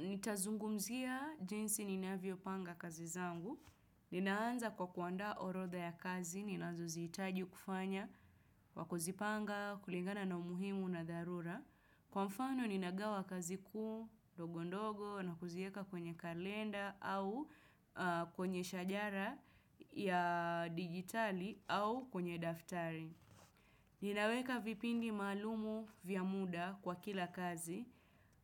Nitazungumzia jinsi ninavyo panga kazi zangu. Ninaanza kwa kuandaa orodha ya kazi, ninazoziitaji kufanya kwa kuzipanga, kulingana na umuhimu na dharura. Kwa mfano ninagawa kazi kuu dogo ndogo na kuzieka kwenye kalenda au kwenye shajara ya digitali au kwenye daftari. Ninaweka vipindi maalumu vya muda kwa kila kazi